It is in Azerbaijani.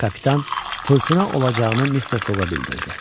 Kapitan fırtına olacağını Mister Foqa bildirdi.